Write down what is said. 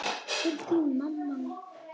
Til þín, mamma mín.